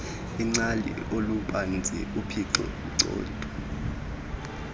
ingcali olubanzi uphicotho